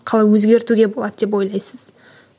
қалай өзгертуге болады деп ойлайсыз